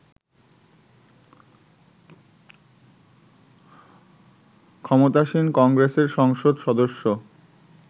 ক্ষমতাসীন কংগ্রেসের সংসদ সদস্য